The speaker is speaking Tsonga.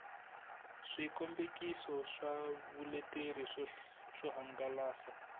swikombekiso swa vuleteri swo hangalasa